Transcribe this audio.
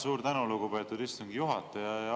Suur tänu, lugupeetud istungi juhataja!